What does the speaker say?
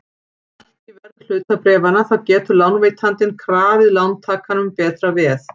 Lækki verð hlutabréfanna þá getur lánveitandinn krafið lántakann um betra veð.